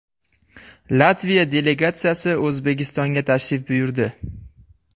Latviya delegatsiyasi O‘zbekistonga tashrif buyurdi.